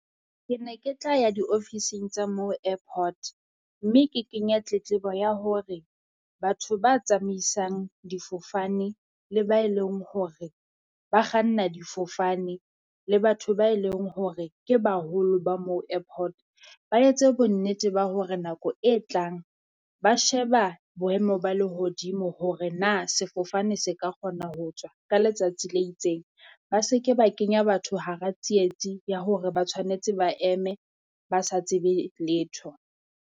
Ke ne ke tla ya diofising tsa moo airport, mme ke kenya tletlebo ya hore batho ba tsamaisang difofane le ba e leng hore ba kganna difofane le batho ba e leng hore ke baholo ba moo airport. Ba etse bonnete ba hore nako e tlang ba sheba boemo ba lehodimo hore na sefofane se ka kgona ho tswa ka letsatsi le itseng. Ba se ke ba kenya batho hara tsietsi ya hore ba tshwanetse ba eme ba sa tsebe letho.